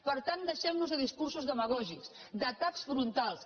per tant deixem nos de discursos demagògics d’atacs frontals